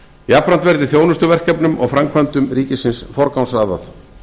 jafnframt verði þjónustuverkefnum og framkvæmdum ríkisins forgangsraðað